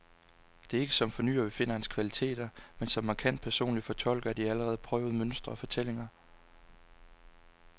Det er ikke som fornyer, vi finder hans kvaliteter, men som markant personlig fortolker af de allerede prøvede mønstre og fortællinger.